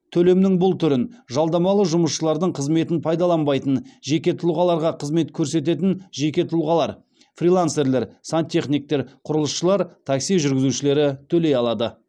төлемнің бұл түрін жалдамалы жұмысшылардың қызметін пайдаланбайтын жеке тұлғаларға қызмет көрсететін жеке тұлғалар фрилансерлер сантехниктер құрылысшылар такси жүргізушілері төлей алады